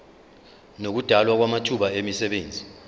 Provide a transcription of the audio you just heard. nokudalwa kwamathuba emisebenzi